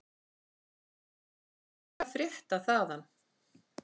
Hvað er að frétta þaðan?